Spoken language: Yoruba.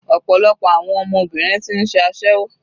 Ọ̀pọ̀lọpọ̀ àwọn ọmọbìnrin ti ń ṣe aséwó.